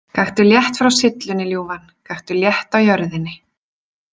Gakktu létt frá syllunni, ljúfan, gakktu létt á jörðinni.